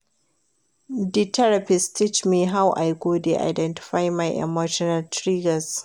Di therapist teach me how I go dey identify my emotional triggers.